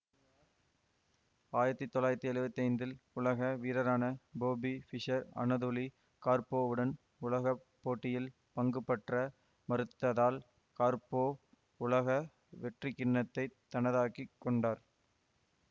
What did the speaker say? ஆயிரத்தி தொள்ளாயிரத்தி எழுவத்தி ஐந்தில் உலக வீரரான பொபி ஃபிஷர் அனதோலி கார்ப்பொவ்வுடன் உலக போட்டியில் பங்குபற்ற மறுத்ததால் கார்ப்பொவ் உலக வெற்றிக்கிண்ணத்தைத் தனதாக்கி கொண்டார்